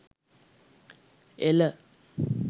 ela